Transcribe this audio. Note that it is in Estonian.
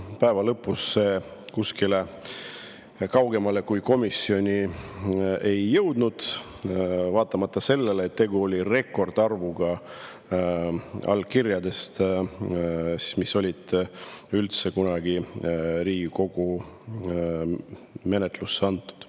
Päeva lõpus see kuskile kaugemale kui komisjoni ei jõudnud, kuigi see oli rekordiline arv allkirju, mis üldse kunagi Riigikogule üle antud.